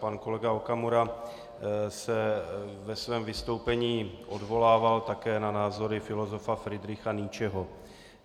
Pan kolega Okamura se ve svém vystoupení odvolával také na názory filozofa Friedricha Nietzcheho.